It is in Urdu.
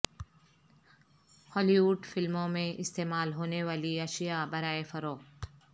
ہالی وڈ فلموں میں استعمال ہونیوالی اشیاء برائے فروخت